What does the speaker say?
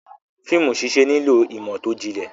Fíìmù ṣíṣẹ nílò ìmọ̀ tó jinlẹ̀.